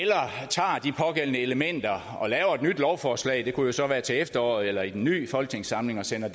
tager de pågældende elementer og laver et nyt lovforslag det kunne så være til efteråret eller i den nye folketingssamling og sender